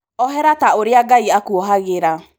Ohera ta ũrĩa Ngai akuohagĩra.